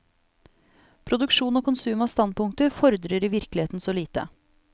Produksjon og konsum av standpunkter fordrer i virkeligheten så lite.